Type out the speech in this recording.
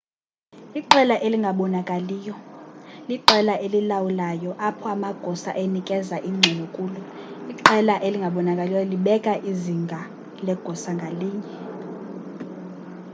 iqela elingabonakaliyo liqela elilawulayo apho amagosa enikezela ingxelo kulo iqela elingabnakaliyo libeka izinga legosa ngalinye